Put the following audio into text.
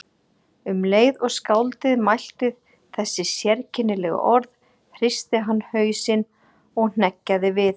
Um leið og skáldið mælti þessi sérkennilegu orð hristi hann hausinn og hneggjaði við.